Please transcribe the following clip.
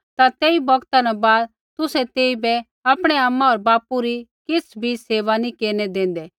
ता तेई बौगता न बाद तुसै तेइबै आपणै आमा होर बापू री किछ़ भी सेवा नी केरनै देंदै